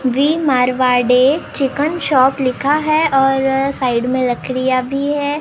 Marwari chicken shop लिखा है और साइड में लकड़िया भी है और।